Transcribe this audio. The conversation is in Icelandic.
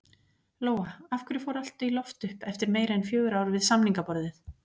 Lóa: Af hverju fór allt í loft upp eftir meira en fjögur ár við samningaborðið?